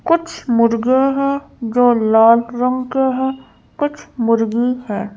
कुछ मुर्गे हैं जो लाल रंग के हैं कुछ मुर्गी हैं।